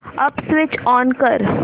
app switch on कर